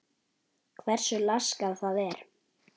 Hversu laskað það er?